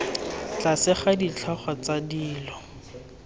tlase ga ditlhogo tsa dilo